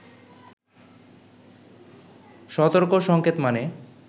সতর্ক সঙ্কেত মানে